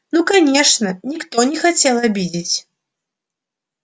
ну конечно никто не хотел обидеть